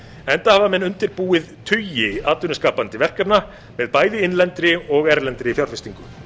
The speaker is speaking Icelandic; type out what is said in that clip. enda hafa menn undirbúið tugi atvinnuskapandi verkefna með bæði innlendri og erlendri fjárfestingu